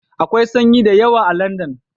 Akwai sanyi da yawa a Landan